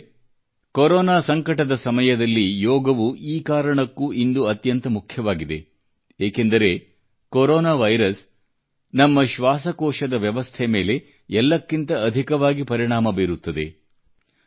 ಬಾಂಧವರೇ ಕೊರೋನಾ ಸಂಕಟದ ಸಮಯದಲ್ಲಿ ಯೋಗವು ಈ ಕಾರಣಕ್ಕೂ ಇಂದು ಅತ್ಯಂತ ಮುಖ್ಯವಾಗಿದೆ ಏನೆಂದರೆ ಕೊರೋನಾ ವೈರಸ್ ನಮ್ಮ ಶ್ವಾಸಕೋಶದ ವ್ಯವಸ್ಥೆ ಮೇಲೆ ಎಲ್ಲಕ್ಕಿಂತ ಅಧಿಕವಾಗಿ ಪರಿಣಾಮ ಬೀರುತ್ತದೆ